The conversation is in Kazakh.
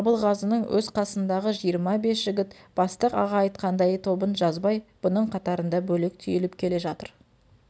абылғазының өз қасындағы жиырма бес жігіт бастық аға айтқандай тобын жазбай бұның қатарында бөлек түйіліп келе жатыр